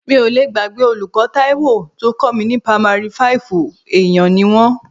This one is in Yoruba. Mi ò lé gbàgbé olùkọ́ Taiwo tó kọ́ mi ní pamari fáìfù, èèyàn ni wọ́n.